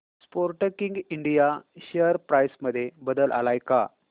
Sportking India share price मध्ये बदल आलाय का